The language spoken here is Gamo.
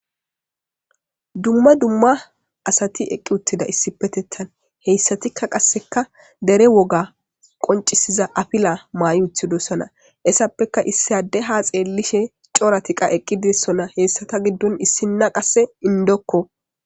dumma dumma asati eqqi uttida issipetettan heyssatikka qasseka dere woga qoncisiza afila maayi utidossona essappeka issi adde ha xeellishe cooratika eqqi dossona hessata giddon issinna qasse indokko